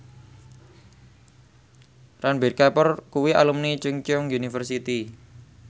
Ranbir Kapoor kuwi alumni Chungceong University